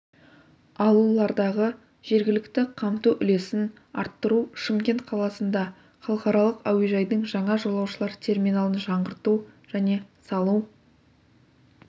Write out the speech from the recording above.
алулардағы жергілікті қамту үлесін арттыру шымкент қаласында халықаралық әуежайдың жаңа жолаушылар терминалын жаңғырту және салу